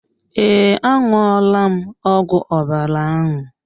Ee, a ṅụọ la m ọgwụ ọbara ahụ.